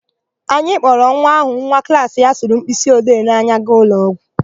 Anyị kpọrọ nwa áhụ̀ nwa klaasị ya sụrụ mkpịsịode n'anya gaa ụlọọgwụ.